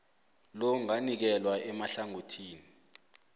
lo anganikelwa emahlangothini